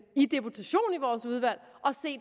i deputation i vores udvalg